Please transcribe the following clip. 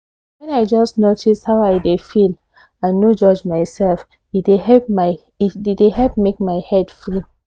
when i just notice how i dey feel and no judge myself e dey help make my head free